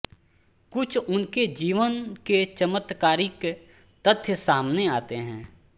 कुछ उनके जीवन के चमत्कारिक तथ्य सामने आते हैं